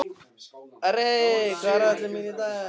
Arey, hvað er á áætluninni minni í dag?